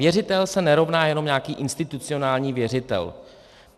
Věřitel se nerovná jenom nějaký institucionální věřitel.